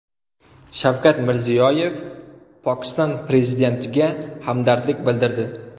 Shavkat Mirziyoyev Pokiston prezidentiga hamdardlik bildirdi.